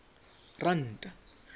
ranta